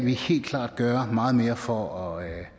have for at